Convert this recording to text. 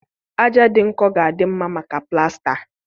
Aja dị nkọ ga-adị mma maka plasta.